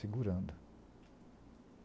Segurando.